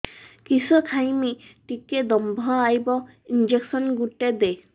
କିସ ଖାଇମି ଟିକେ ଦମ୍ଭ ଆଇବ ଇଞ୍ଜେକସନ ଗୁଟେ ଦେ